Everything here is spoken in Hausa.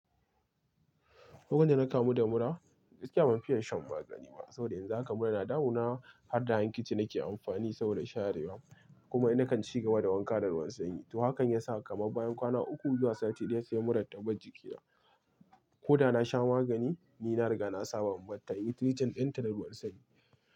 Duk randa na kamu da mura, gaskiya ban fiya shan magani ba. Saboda yanzu haka mura ya na damu na, har da hankici na ke amfani saboda sharewa. Kuma ina kan ci gaba da wanka da ruwan sanyi. To hakan ya sa kamar bayan kwana uku zuwa sati ɗaya, sai murar ta bar jikina. Ko da na sha magani, ni na riga na saba da mataimin rigin ɗinta da ruwan sanyi.